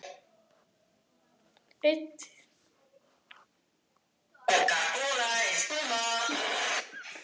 Það var eitthvað glaðhlakkalegt í fari hennar.